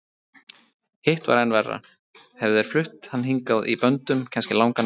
Hitt var enn verra, hefðu þeir flutt hann hingað í böndum, kannski langan veg.